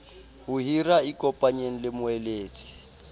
ho hira ikopanyeng le moeletsi